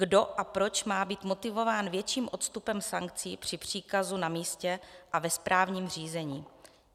Kdo a proč má být motivován větším odstupem sankcí při příkazu na místě a ve správním řízení?